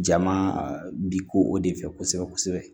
Jama bi ko o de fɛ kosɛbɛ kosɛbɛ